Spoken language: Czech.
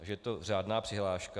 Takže je to řádná přihláška.